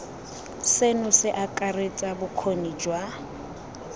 seno se akaretsa bokgoni jwa